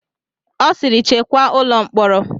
Ọ sịịrị chekwaa ụlọ mkpọrọ!